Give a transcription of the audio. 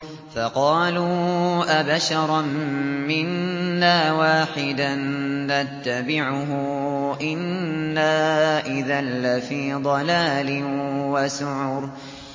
فَقَالُوا أَبَشَرًا مِّنَّا وَاحِدًا نَّتَّبِعُهُ إِنَّا إِذًا لَّفِي ضَلَالٍ وَسُعُرٍ